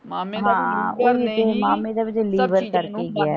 ਹਾਂ ਮਾਮੇ ਮਾਮੇ ਦਾ ਵੀ ਤੇ ਲੀਵਰ ਕਰਕੇ ਗਿਆ।